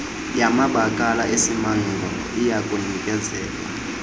yamabakala esimangalo iyakunikezelwa